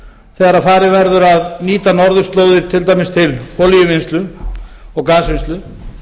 þegar farið verður að nýta norðurslóðir til dæmis til olíuvinnslu og gasvinnslu